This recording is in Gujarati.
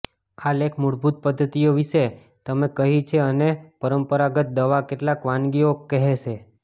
આ લેખ મૂળભૂત પદ્ધતિઓ વિશે તમે કહી છે અને પરંપરાગત દવા કેટલાક વાનગીઓ કહેશે